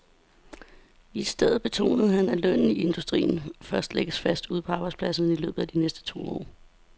I stedet betonede han, at lønnen i industrien først lægges fast ude på arbejdspladserne i løbet af de næste to år.